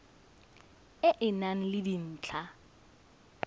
e e nang le dintlha